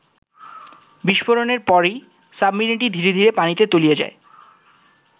বিস্ফোরণের পরই সাবমেরিনটি ধীরে ধীরে পানিতে তলিয়ে যায়।